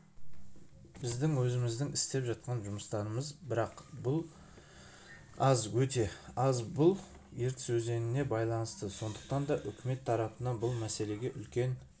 біздің өзіміздің істеп жатқан жұмыстарымыз бірақ бұл аз өте аз бұл ертіс өзеніне байланысты сондықтан да үкімет тарапынан бұл мәселеге үлкен